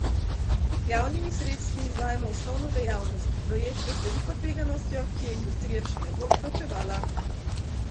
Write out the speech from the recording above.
Z javnimi sredstvi izvajamo osnovno dejavnost, projekte z veliko tveganostjo, ki je industrija še ne bo plačevala.